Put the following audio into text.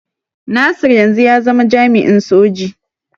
Nasir yanzu ya zama jami'in soji.